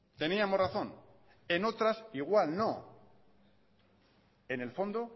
teníamos razón en otras igual no en el fondo